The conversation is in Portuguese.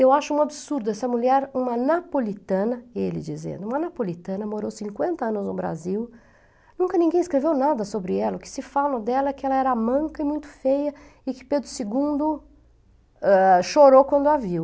Eu acho um absurdo, essa mulher, uma napolitana, ele dizendo, uma napolitana, morou cinquenta anos no Brasil, nunca ninguém escreveu nada sobre ela, o que se fala dela é que ela era manca e muito feia, e que Pedro segundo ah, chorou quando a viu.